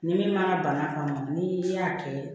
Ni min ma bana kɔnɔ ni y'a kɛ